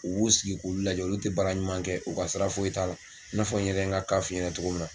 U b'u sigi k'olu lajɛ olu te baara ɲuman kɛ u ka sira foyi t'a la n'a fɔ n yɛrɛ ye n ka ka fɔ f'i ɲɛna togo min na